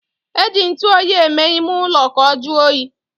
E ji ntuoyi eme ime ulo ka o juo oyi